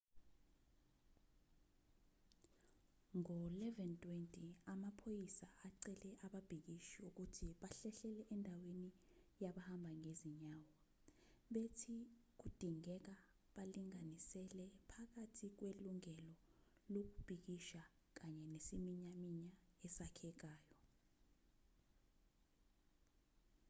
ngo-11:20 amaphoyisa acele ababhikishi ukuthi bahlehlele endaweni yabahamba ngezinyawo bethi kudingeka balinganisele phakathi kwelungelo lokubhikisha kanye nesiminyaminya esakhekayo